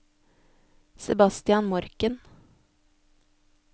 Sebastian Morken